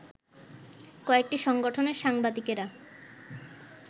কয়েকটি সংগঠনের সাংবাদিকেরা